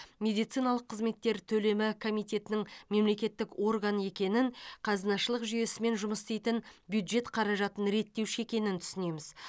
медициналық қызметтер төлемі комитетінің мемлекеттік орган екенін қазынашылық жүйесімен жұмыс істейтін бюджет қаражатын реттеуші екенін түсінеміз